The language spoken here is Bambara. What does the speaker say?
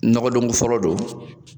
Nɔgɔdɔn fɔlɔ don.